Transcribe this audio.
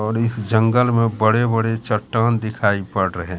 और इस जंगल में बड़े बड़े चट्टान दिखाई पड़ रहे--